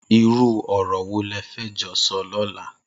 Irù ọrọ wó lẹ fẹ jọ sọ lọ̀là